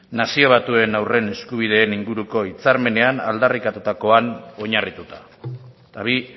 nazio batuen haurren inguruko hitzarmenean aldarrikatutakoan oinarrituta eta bi